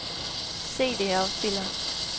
CD-afspiller